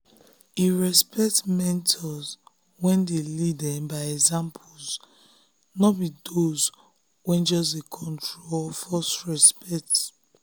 e respect mentors wey lead um by example no be those um wey just dey control or force respect.